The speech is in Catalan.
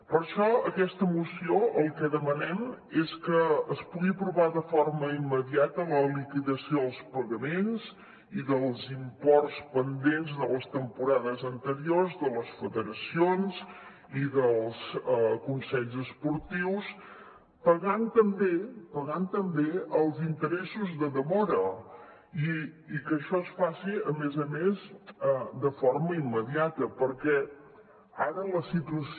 per això a aquesta moció el que demanem és que es pugui aprovar de forma immediata la liquidació dels pagaments i dels imports pendents de les temporades anteriors de les federacions i dels consells esportius pagant també pagant també els interessos de demora i que això es faci a més a més de forma immediata perquè ara la situació